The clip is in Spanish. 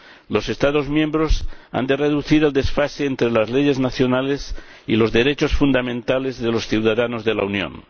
Los Estados miembros han de reducir el desfase entre las leyes nacionales y los derechos fundamentales de los ciudadanos de la Unión.